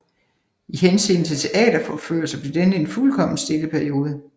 I henseende til teateropførelser blev denne en fuldkommen stille periode